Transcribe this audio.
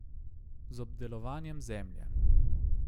Z obdelovanjem zemlje.